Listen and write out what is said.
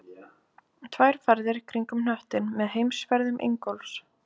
Tvær ferðir kringum hnöttinn með heimsferðum Ingólfs